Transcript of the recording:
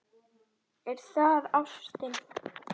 Er það ástin?